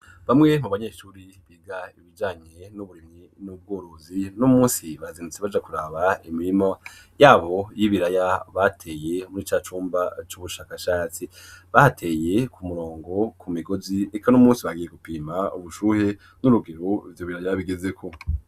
Bamwe mu banyeshuri biga ibijanye n'uburimyi n'ubworozi, uno munsi bazindutsi baja kuraba imirima yabo y'ibiraya bateye muri ca cumba cy'ubushakashatsi. Bahateye ku murongo ku migozi, eka uno munsi bagiye gupima ubushuhe n'urugero ivyo biraya bigezeko.